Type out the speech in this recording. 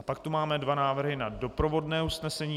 A pak tu máme dva návrhy na doprovodné usnesení.